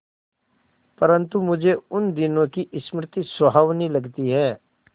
परंतु मुझे उन दिनों की स्मृति सुहावनी लगती है